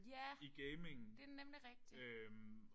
Ja det er nemlig rigtigt